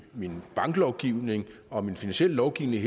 min banklovgivning og i min finansielle lovgivning i